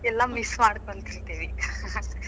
ಎಲ್ಲಾ miss ಮಾಡ್ಕೋತಿದೀವಿ .